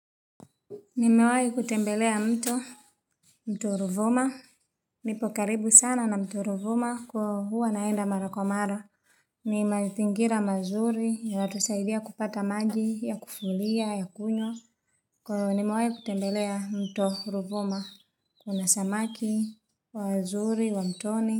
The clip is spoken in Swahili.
Nimewayi kutembelea mto mto Ruvuma nipo karibu sana na mto Ruvuma kwa huu anaenda mara kwa mara ni mazingira mazuri yanatusaidia kupata maji ya kufulia ya kunywa kwa nimewayi kutembelea mto Ruvuma Kuna samaki wa azuri wa mtoni.